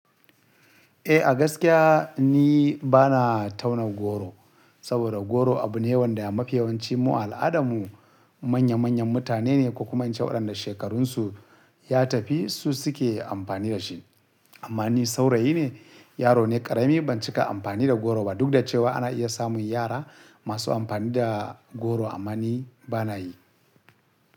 Eh, a gaskiya ni bana tauna goro, saboda goro abu ne yawan da a mafiyawanci mu al'adarmu manya manyan mutane ne, ko kuma inci waɗanda shekarunsu ya tafi su suke amfani da shi. Amma ni saurayi ne, yaro ne ƙarami ban cika amfani da goro ba. Duk da cewa ana iya samun yara masu amfani da goro, amma ni bana yi.